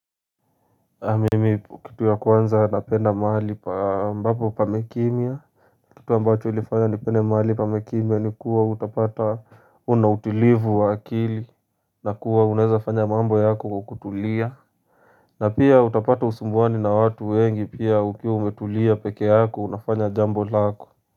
Mimi kitu ya kwanza napenda mahali pa ambapo pamekimya Kitu ambacho ulifanya ni pende mahali pa mekimya ni kuwa utapata unautilivu wa akili na kuwa uneza fanya mambo yako kwa kutulia na pia utapata usumbuani na watu wengi pia ukiwa umetulia pekee yako unafanya jambo lako.